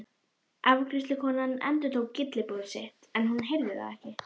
Afgreiðslukonan endurtók gylliboð sitt en hún heyrði það ekki.